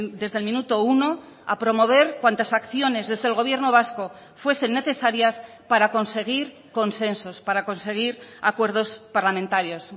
desde el minuto uno a promover cuantas acciones desde el gobierno vasco fuesen necesarias para conseguir consensos para conseguir acuerdos parlamentarios